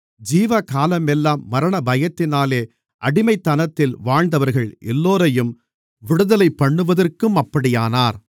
ஜீவகாலமெல்லாம் மரணபயத்தினாலே அடிமைத்தனத்தில் வாழ்ந்தவர்கள் எல்லோரையும் விடுதலைபண்ணுவதற்கும் அப்படியானார்